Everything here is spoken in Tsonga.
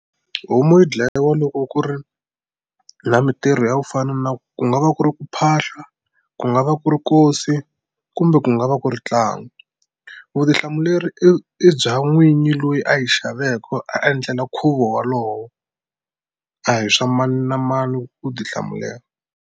Homu yi dlayiwa loko ku ri na mintirho ya ku fana na ku nga va ku ri ku phahla ku nga va ku ri nkosi kumbe ku nga va ku ri ntlangu vutihlamuleri i i bya n'winyi loyi a yi xaveke a endlela nkhuvo walowo a hi swa mani na mani ku tihlamulela.